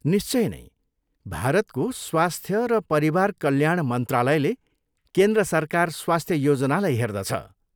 निश्चय नै। भारतको स्वास्थ्य र परिवार कल्याण मन्त्रालयले केन्द्र सरकार स्वास्थ्य योजनालाई हेर्दछ।